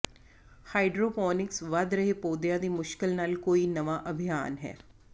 hydroponics ਵਧ ਰਹੇ ਪੌਦਿਆਂ ਦੀ ਮੁਸ਼ਕਿਲ ਨਾਲ ਕੋਈ ਨਵਾਂ ਅਭਿਆਸ ਹੈ